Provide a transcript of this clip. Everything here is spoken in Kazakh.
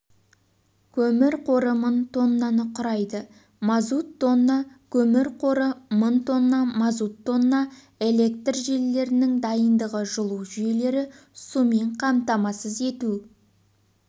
көмір қоры мың тоннаны құрайды мазут тонна көмір қоры мың тонна мазут тонна электр желілерінің дайындығы жылу жүйелері сумен қамтамасыз ету